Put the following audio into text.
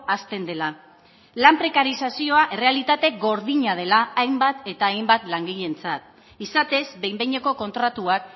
hazten dela lan prekarizazioa errealitate gordina dela hainbat eta hainbat langileentzat izatez behin behineko kontratuak